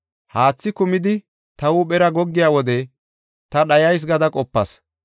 Haathi kumidi ta huuphera goggiya wode ta dhayas gada qopas.